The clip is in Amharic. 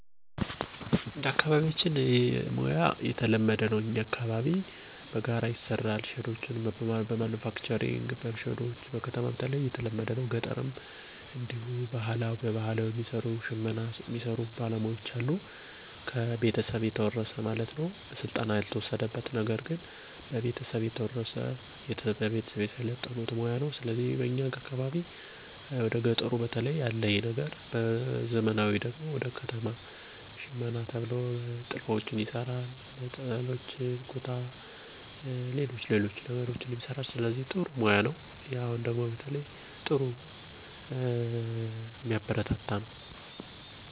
አካባቢያችን ላይ የሽመና ሥራ ብዙም የተለመደ አደለም። ነገርግን በማህበር በመደራጀት ሼድ ከመንግስት ተቀብለው የተለያዩ ስራዎችን የሚሰሩ ነዋሪወች አሉ። ከሚሰሩት ስራም መካከል ጋራጅ እና ጣውላ ቤት ከፍተው በውስጣቸው ብዙ ሰራተኞችን ይዘዋል። ከሰፈራችን ትንሽ ራቅ ብሎ ደግሞ የሽመና ሥራ ይሰራሉ። ሙያውንም ያገኙት እና ያዳበሩት በቤተሰብ እርዳታ እና ከትውልድ ትውልድ የተላለፈ ውርስ ነው።